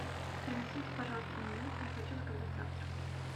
принесите пожалуйста меню я хочу заказать завтрак